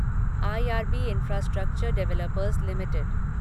IRB Infrastructure Developers limited